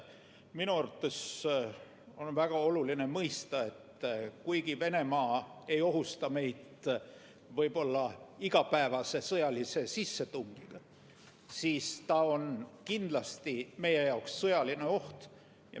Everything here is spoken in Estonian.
Minu arvates on väga oluline mõista, et kuigi Venemaa ei ohusta meid võib-olla iga päev sõjalise sissetungiga, siis ta on kindlasti meie jaoks sõjaline oht.